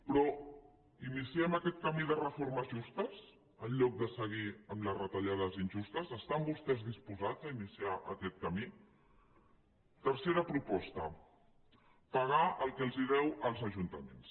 però iniciem aquest camí de reformes justes en lloc de seguir amb les retallades injustes estan vostès disposats a iniciar aquest camí tercera proposta pagar el que els deu als ajuntaments